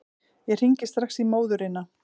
Ég hringi strax í móðurina.